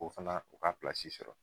O fana o k'a sɔrɔ